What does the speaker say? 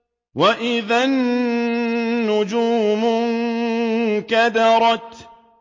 وَإِذَا النُّجُومُ انكَدَرَتْ